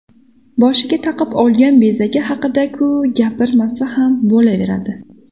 Boshiga taqib olgan bezagi haqida-ku gapirmasa ham bo‘laveradi.